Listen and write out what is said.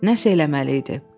Nəsə eləməli idi.